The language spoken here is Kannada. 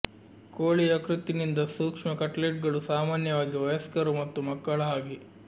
ಕೋಳಿ ಯಕೃತ್ತಿನಿಂದ ಸೂಕ್ಷ್ಮ ಕಟ್ಲೆಟ್ಗಳು ಸಾಮಾನ್ಯವಾಗಿ ವಯಸ್ಕರು ಮತ್ತು ಮಕ್ಕಳ ಹಾಗೆ